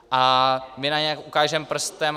A my na ně ukážeme prstem.